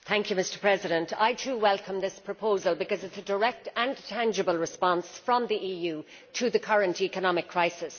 Mr President, I too welcome this proposal because it is a direct and tangible response from the EU to the current economic crisis.